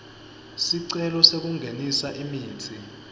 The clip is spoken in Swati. sicelo sekungenisa imitsi